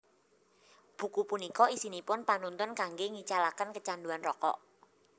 Buku punika isinipun panuntun kanggé ngicalaken kecanduan rokok